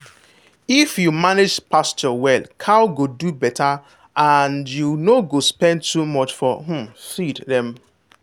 if you manage pasture well cow go do better and you no go spend too much to um feed dem.